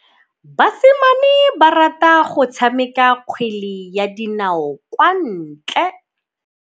Basimane ba rata go tshameka kgwele ya dinaô kwa ntle.